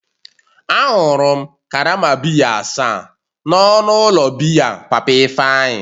Añụrụ m karama biya asaa n'ọnụ ụlọ biya papa Ifeanyi